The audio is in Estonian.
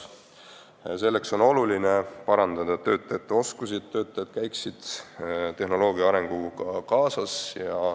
Sel eesmärgil on oluline parandada töötajate oskusi, et nad käiksid tehnoloogia arenguga kaasas.